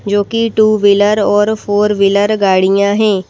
जो कि two wheeler और फोर व्हीलर गाड़ियां हैं।